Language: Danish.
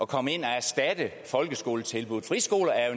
komme ind og erstatte folkeskoletilbuddet friskoler er